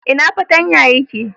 Ina fartanya ya ke?